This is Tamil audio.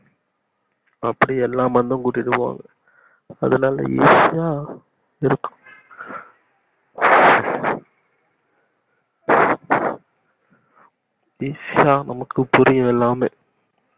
அப்டி எல்லா மண்டும் கூட்டிட்டு போவாங்க அதனால easy யா இருக்கும் easy யா நமக்கு புரியும் எல்லாமே